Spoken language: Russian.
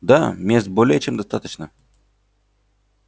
да мест более чем достаточно